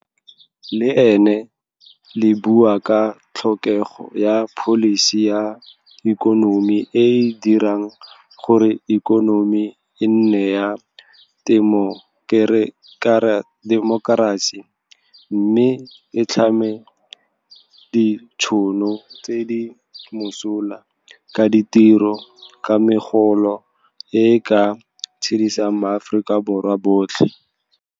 Le ne le bua ka tlhokego ya pholisi ya ikonomi e e dirang gore ikonomi e nne ya temokerasi mme e tlhame ditšhono tse di mosola tsa ditiro ka megolo e e ka tshedisang maAforika Borwa otlhe.